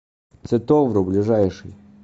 цветовру ближайший